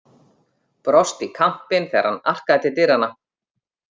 Brosti í kampinn þegar hann arkaði til dyranna.